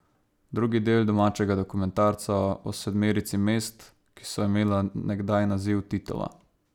Drugi del domačega dokumentarca o sedmerici mest, ki so imela nekdaj naziv Titova.